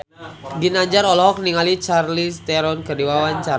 Ginanjar olohok ningali Charlize Theron keur diwawancara